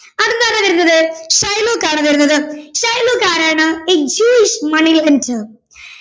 അടുത്തത് ആരാ വരുന്നത് ഷൈലോക്ക് ആണ് വരുന്നത് ഷൈലോക്ക് ആരാണ് a Jewish money lender